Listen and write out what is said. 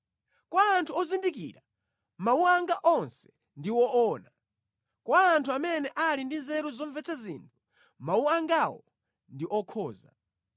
Kwa anthu ozindikira, mawu anga onse ndi woona; kwa anthu amene ali ndi nzeru zomvetsa zinthu, mawu angawo ndi okhoza.